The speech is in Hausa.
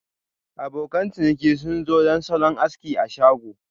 Abokan ciniki sun zo don salon aski a shago.